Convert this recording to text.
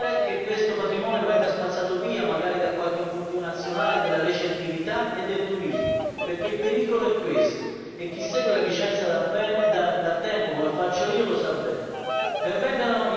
Non possiamo rischiare che questo patrimonio venga spazzato via, magari da qualche multinazionale della recettività e del turismo, perché il pericolo è questo e chi segue la vicenda da tempo come faccio io lo sa bene.